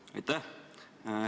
Aitäh!